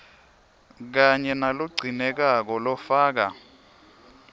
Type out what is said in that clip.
kanye nalogcinekako lofaka